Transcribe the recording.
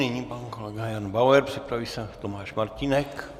Nyní pan kolega Jan Bauer, připraví se Tomáš Martínek.